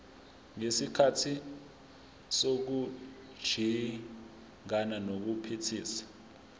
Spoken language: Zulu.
ngesikhathi sokujingana nokuphithiza